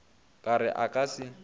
ka re a ka se